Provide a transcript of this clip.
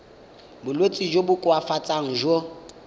bolwetsi jo bo koafatsang jo